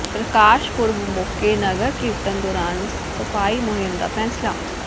ਪ੍ਰਕਾਸ਼ ਪੁਰਬ ਮੌਕੇ ਨਗਰ ਕੀਰਤਨ ਦੌਰਾਨ ਸਫ਼ਾਈ ਮੁਹਿੰਮ ਦਾ ਫ਼ੈਸਲਾ